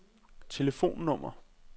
telefonnummer